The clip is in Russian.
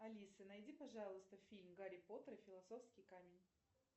алиса найди пожалуйста фильм гарри поттер и философский камень